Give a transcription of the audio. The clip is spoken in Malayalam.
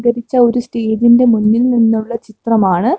ലഭിച്ച ഒരു സ്റ്റേജിൻ്റെ മുന്നിൽ നിന്നുള്ള ചിത്രമാണ്.